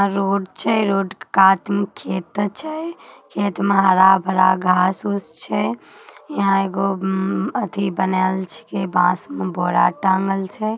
आ रोड छै रोड के कात में खेत छै। खेत में हरा-भरा घांस-उस छै। यहां एगो मम्म्म अथी बनायेल बांस मे बोरा टाँगल छै।